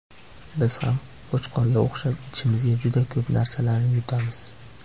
Biz ham Qo‘chqorga o‘xshab ichimizga juda ko‘p narsalarni yutamiz.